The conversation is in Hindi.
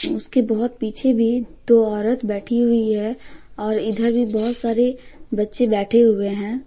उसके बहुत पीछे भी दो औरत बैठी हुई है और इधर भी बहुत सारे बच्चे बैठे हुए हैं।